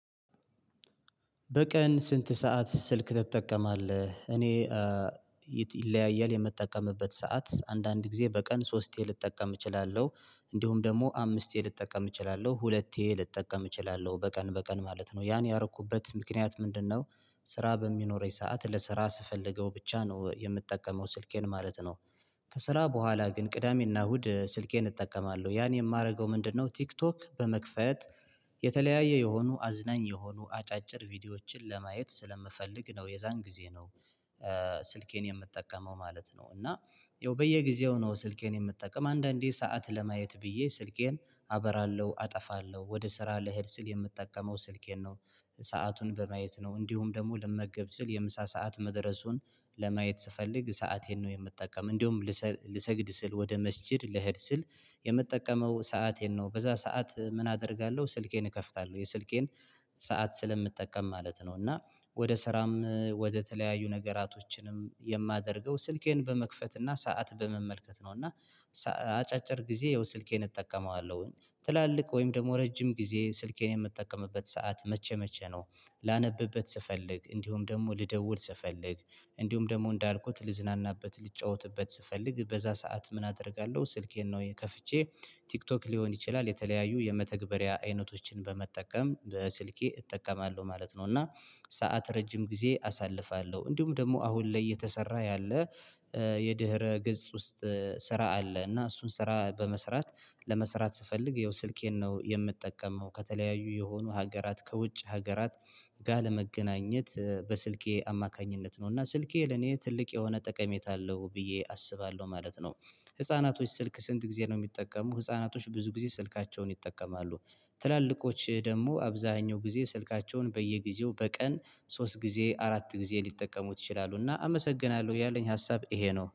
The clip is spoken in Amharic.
በቀን ስንት ሰዓት ስልክ ትጠቀማለህ? እኔ ይለያያል የምጠቀምበት ሰዓት አንዳንድ ጊዜ በቀን ሶስቴ ልጠቀም እችላለሁ። እንዲሁም ደግሞ አምስቴ ልጠቀም እችላለሁ ሁለቴ ልጠቀም እችላለሁ በቀን በቀን ማለት ነው። ያን ያረኩበት ምክንያት ምንድነው? ስራ በሚኖረኝ ሰዓት ለስራ ስፈልገው ብቻ ነው የምጠቀመው ስልኬን ማለት ነው። ከስራ በኋላ ግን ቅዳሜና እሁድ ስልኬን እጠቀማለሁ ያን የማደርገው ምንድነው? ቲክቶክ በመክፈት የተለያየ የሆኑ አዝናኝ የሆኑ አጫጭር ቪዲዮዎችን ለማየት ስለምፈልግ ነው የዛን ጊዜ ነው። ስልኬን የምጠቀመው ማለት ነው እና ያው በየጊዜው ነው። ስልኬን የምጠቀም አንዳንዴ ሰዓት ለማየት ብዬ ስልኬን አበራለሁ አጠፋለሁ ወደ ስራ ልሄድ ስል የምጠቀመው ስልኬን ነው። ሰአቱን በማየት ነው እንዲሁም ደግሞ ልመገብ ስል የምሳ ሰዓት መድረሱን ለማየት ስፈልግ ሰአቴን ነው የምጠቀመው። እንደውም ልሰግድ ስል ወደ መስጊድ ልሄድ ስል የምጠቀመው ሰአቴን ነው በዛ ሰዓት ምን አደርጋለሁ ስልኬን እከፍታለሁ የስልኬን ሰዓት ስለምጠቀም ማለት ነው። እና ወደ ስራም ወደተለያዩ ነገራቶችንም የማደርገው ስልኬን በመክፈት እና ሰዓት በመመልከት ነው። እና አጫጭር ጊዜ የሆነ ስልኬን እጠቀመዋለሁኝ ትላልቅ ወይም ደግሞ ረጅም ጊዜ ስልኬን የምጠቀምበት ሰዓት መቼ መቼ ነው? ላነብበት ስፈልግ እንዲሁም ደግሞ ልደውል ስፈልግ። እንዲሁም ደግሞ እንዳልኩት ልዝናናበት ልጫወትበት ስፈልግ በዛ ሰዓት ምን አደርጋለሁ ስልኬን ነው ከፍቼ ቲክቶክ ሊሆን ይችላል የተለያዩ የመተግበሪያ አይነቶችን በመጠቀም በስልኬ እጠቀማለሁ ማለት ነው። እና ሰዓት ረጅም ጊዜ አሳልፋለሁ እንዲሁም ደግሞ አሁን ላይ የተሰራ ያለ የድህረ ገጽ ውስጥ ስራ አለ እና እሱን ስራ በመስራት ለመስራት ስፈልግ ያው ስልኬን ነው የምጠቀመው ከተለያዩ የሆኑ ሀገራት ከውጭ ሀገራት ጋር ለመገናኘት በስልኬ አማካኝነት ነው። እና ስልኬ ለኔ ትልቅ የሆነ ጠቀሜታ አለው ብዬ አስባለሁ ማለት ነው። ህፃናቶች ስልክ ስንት ጊዜ ነው የሚጠቀሙ ህፃናቶች ብዙ ጊዜ ስልካቸውን ይጠቀማሉ። ትላልቆች ደግሞ አብዛኛው ጊዜ ስልካቸውን በየጊዜው በቀን ሶስት ጊዜ አራት ጊዜ ሊጠቀሙት ይችላሉ። እና አመሰግናለሁ ያለኝ ሀሳብ ይሄ ነው